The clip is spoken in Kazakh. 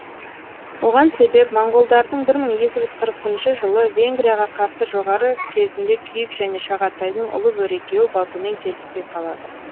оған себеп моңғолдардың бір мың екі жүз қырық бірінші жылы венгрияға қарсы жоғары кезінде күйік және шағатайдың ұлы бөрі екеуі батумен келіспей қалады